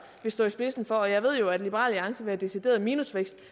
vil stå i spidsen for og jeg ved jo at liberal alliance vil have decideret minusvækst